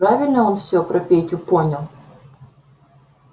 правильно он все про петю понял